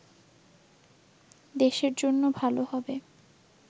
দেশের জন্য ভালো হবে